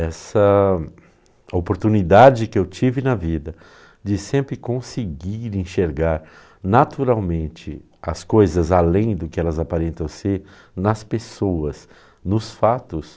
Essa oportunidade que eu tive na vida de sempre conseguir enxergar naturalmente as coisas além do que elas aparentam ser nas pessoas, nos fatos,